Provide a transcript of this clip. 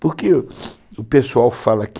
Porque o pessoal fala que...